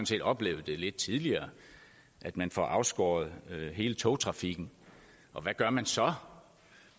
set oplevet lidt tidligere at man får afskåret hele togtrafikken og hvad gør man så